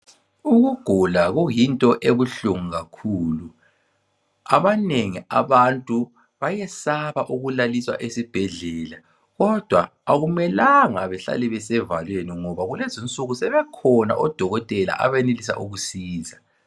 Ukugula kuyinto ebuhlungu kakhulu abanengi abantu bayesaba ukulaliswa esibhendlela kodwa akumelanga sihlele sisevalweni ngoba kulezinsuku sebekhona odokotela abenelisa ukusisiza.